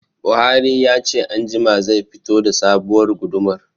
Buhari ya ce anjima zai fito da sabuwar gudumar